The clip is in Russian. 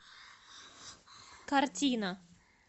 картина